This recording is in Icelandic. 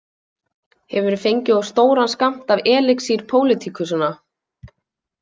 Hefurðu fengið of stóran skammt af elixír pólitíkusanna?